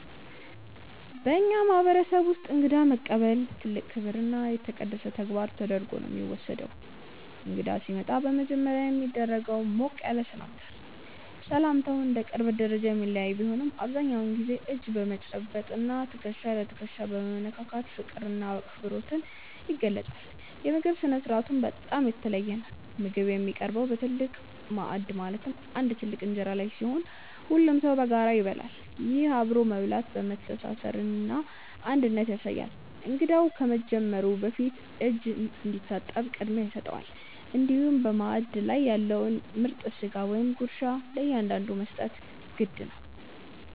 በእኛ ማህበረሰብ ውስጥ እንግዳን መቀበል ትልቅ ክብርና የተቀደሰ ተግባር ተደርጎ ነው የሚወሰደው። እንግዳ ሲመጣ በመጀመሪያ የሚደረገው ሞቅ ያለ ሰላምታ ነው። ሰላምታው እንደ ቅርበት ደረጃ የሚለያይ ቢሆንም፣ አብዛኛውን ጊዜ እጅ በመጨበጥ እና ትከሻ ለትከሻ በመነካካት ፍቅርና አክብሮት ይገለጻል። የምግብ ስነ-ስርዓቱም በጣም የተለየ ነው። ምግብ የሚቀርበው በትልቅ ማዕድ ማለትም በአንድ ትልቅ እንጀራ ላይ ሲሆን፣ ሁሉም ሰው በጋራ ይበላል። ይህ አብሮ መብላት መተሳሰርንና አንድነትን ያሳያል። እንግዳው ከመጀመሩ በፊት እጅ እንዲታጠብ ቅድሚያ ይሰጠዋል፤ እንዲሁም በማዕድ ላይ ያለውን ምርጥ ስጋ ወይም ጉርሻ ለእንግዳው መስጠት የግድ ነው።